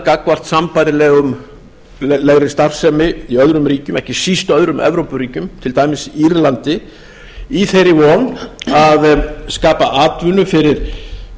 gagnvart sambærilegri starfsemi í öðrum ríkjum ekki síst öðrum evrópuríkjum til dæmis írlandi í þeirri von að skapa atvinnu fyrir